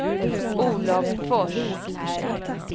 Olov Fors